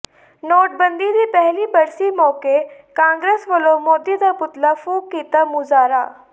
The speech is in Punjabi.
ਨੋਟਬੰਦੀ ਦੀ ਪਹਿਲੀ ਬਰਸੀ ਮੌਕੇ ਕਾਂਗਰਸ ਵੱਲੋਂ ਮੋਦੀ ਦਾ ਪੁਤਲਾ ਫ਼ੂਕ ਕੀਤਾ ਮੁਜਾਹਰਾ